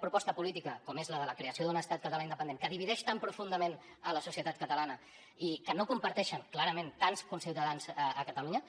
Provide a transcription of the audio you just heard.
proposa política com és la de la creació d’un estat català independent que divideix tan profundament la societat catalana i que no comparteixen clarament tants conciutadans a catalunya